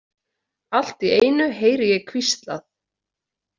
Allt í einu heyri ég hvíslað.